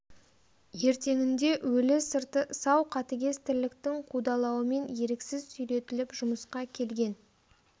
ертеңінде өлі сырты сау қатыгез тірліктің қудалауымен еріксіз сүйретіліп жұмысқа келген